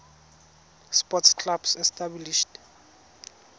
sports clubs established